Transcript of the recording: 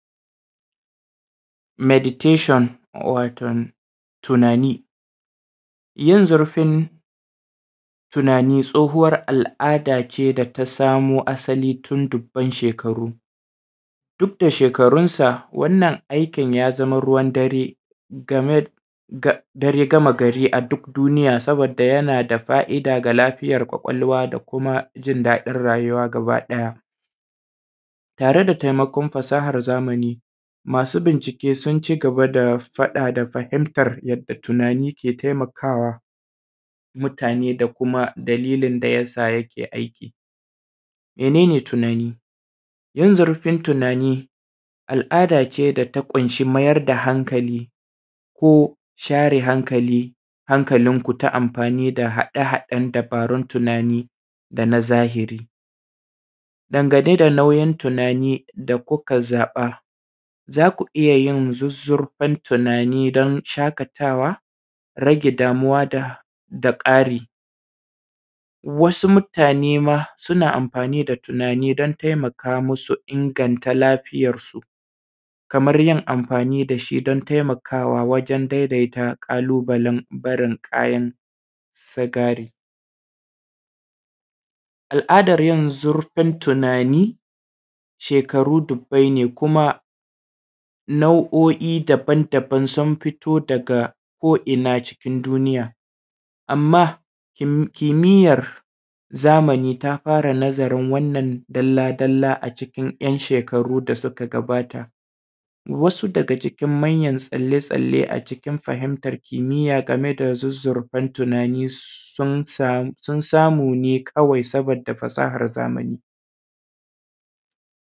Meditation waton tunani, yin zurfin tunani tsohuwar al’ada ne asali da ta samu asali tin dubban shekaru duk da shekarunkan wannan aikin ya zama ruwan dare da ya game gari a duk duniya saboda yana da fai’da daga lafiyan kwakwalwa da kuma jin daɗin rayuwa gabaɗaya tare da taimakon fasahan zamani. Masu bincike sun cigaba da faɗa da fahintan yadda tunani ke taimakawa mutane, dalilin da ya sa yakeyin aiki. Mene ne tunani? Yin zurfin tunani al’adace da ta ƙunshi mayar da hankali ko share hankalinku ta amfani da haɗe-haɗen da dubarun tunani dana zahiri ɓangare nauyin tunani da kuka zaɓa za ku iya yin zuzzurfan tunani don shaƙatawa, rage damuwa da ƙarin wasu manema suna amfani da tunani don taimaka musu inganta lafiyansu kaman yin amfani da shi don taimakawa wajen barin ƙalubalen sigari. Al’adan yin zurfin tunani shekaru dubbai ne kuma nau’o’i daban-daban sun fito daga ko’ina cikin duniya, anma kimiyan zamani tafara nazarin wannan dalla-dalla a cikin ‘yanshekaru da suka gabata, wasu daga cikin manya-manyan tsalle-tsalle a cikin fahintan kimiya game da zizzirfan tunani sun samu ne kawai sabo da fasahar zamani.